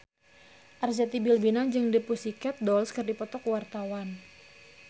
Arzetti Bilbina jeung The Pussycat Dolls keur dipoto ku wartawan